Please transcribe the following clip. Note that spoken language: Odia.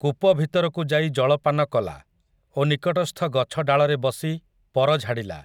କୂପ ଭିତରକୁ ଯାଇ ଜଳପାନ କଲା, ଓ ନିକଟସ୍ଥ ଗଛ ଡାଳରେ ବସି, ପର ଝାଡ଼ିଲା ।